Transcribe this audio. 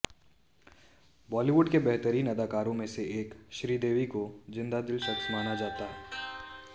बॉलीवुड की बेहतरीन अदाकाराओं में से एक श्रीदेवी को जिंदादिल शख्स माना जाता है